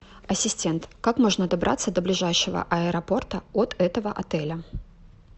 ассистент как можно добраться до ближайшего аэропорта от этого отеля